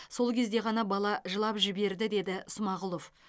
сол кезде ғана бала жылап жіберді деді смағұлов